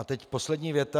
A teď poslední věta.